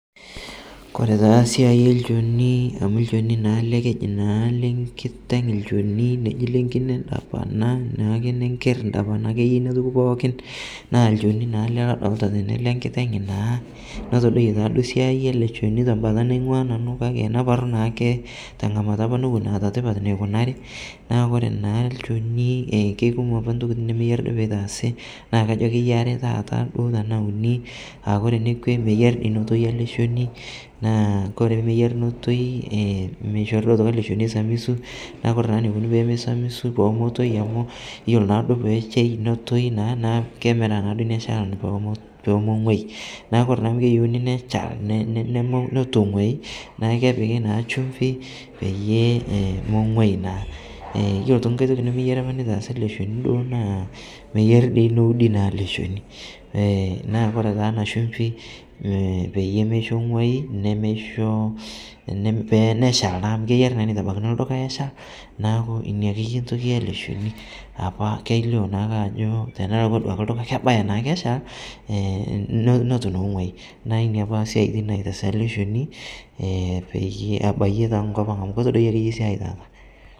Kore taa siai elchonii amu lchonii naa alee keji naa lenkiteng' lchoni, neji lenkine ndapana naa nenker ndapana akeye inia toki pookin naa lchoni naale ale lodolita tene lenkiteng' naa notodoiye taaduo siai alee choni tambata naing'ua nanu kakee naparuu naake tang'amata apa nowon eata tipat neikunari naa kore naa lchonii keikumoo apaa ntokitin nemeyari peitaasi naa kajo akeye aree taata tanaa unii aakore nekwe meyari notoi alee chonii naa kore pemeyari notoi meishorii atoki alee choni eisamisu naa kore naa neikoni peimesamisu pemetoi iloo naaduo peshei notoi naa, naaa kemiraa naaduo inia shalan pomong'uai naaku kore naa amu keyeuni neshal netuu eng'uai naaku kepiki naa chumvi peyie emeng'uai naa. Iyolo otoki ng'ai tokii nemeyari apa neitaasi alee chonii duo naa meyari duo noudii alee chonii, naa kore taa ana chumpii peyie meisho eng'uai nemeishoo neshal naa amu keyari neitabakini lduka eshal naaku inia akeye ntoki yalee chonii apa keilio naake ajoo tenelakwaa duakee ldukaa kebaya naake echal notuu naa eng'uai naaku inia apaa siatin naitaasi ale chonii peyie abaiyee taa nkopang' amu kotodoiye akeye siai taata.